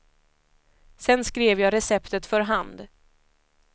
Sen skrev jag receptet för hand.